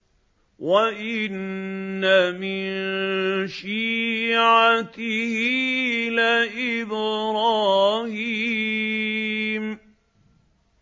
۞ وَإِنَّ مِن شِيعَتِهِ لَإِبْرَاهِيمَ